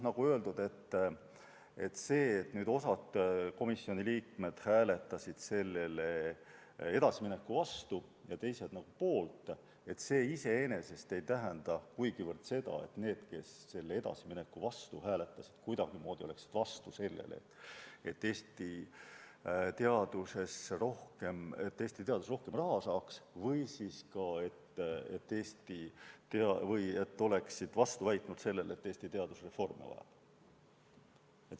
Nagu öeldud, see, et osa komisjoni liikmeid hääletas eelnõuga edasi minemise vastu ja osa poolt, ei tähenda iseenesest seda, et need, kes edasimineku vastu hääletasid, oleksid kuidagimoodi vastu sellele, et Eesti teadus rohkem raha saaks või et Eesti teadus reforme vajab.